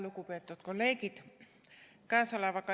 Lugupeetud kolleegid!